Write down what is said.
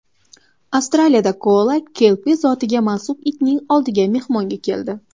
Avstraliyada koala kelpi zotiga mansub itning oldiga mehmonga keldi.